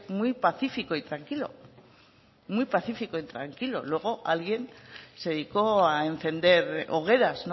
muy pacífico y tranquilo muy pacífico y tranquilo luego alguien se dedicó a encender hogueras